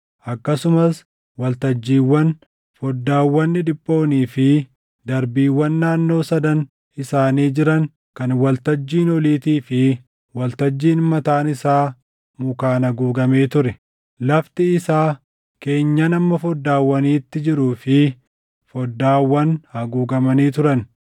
akkasumas waltajjiiwwan, foddaawwan dhidhiphoonii fi darbiiwwan naannoo sadan isaanii jiran kan waltajjiin oliitii fi waltajjiin mataan isaa mukaan haguugamee ture. Lafti isaa, keenyan hamma foddaawwaniitti jiruu fi foddaawwan haguugamanii turan.